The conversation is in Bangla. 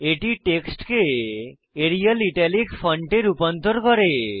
এটি টেক্সটকে এরিয়াল ইটালিক ফন্টে রূপান্তর করে